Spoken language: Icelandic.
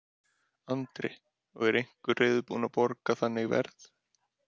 Andri: Og er einhver sem er reiðubúin að borga þannig verð?